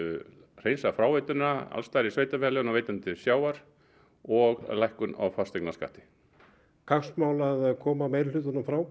hreinsa fráveituna alls staðar í sveitarfélaginu og veita henni til sjávar og lækkun á fasteignaskatti kappsmál að koma meirihlutanum frá